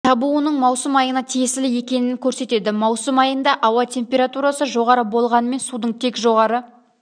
табуының маусым айына тиесілі екенін көрсетеді маусым айында ауа температурасы жоғары болғанымен судың тек жоғары